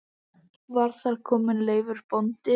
Var þar kominn Leifur bóndi.